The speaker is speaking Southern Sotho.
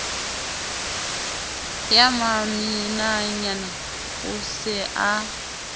ya maminanyana o se a